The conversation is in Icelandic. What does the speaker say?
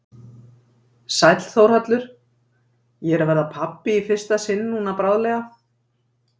Sæll Þórhallur, ég er að verða pabbi í fyrsta sinn núna bráðlega.